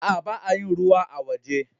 Aa, ba'a yin ruwa a'woje.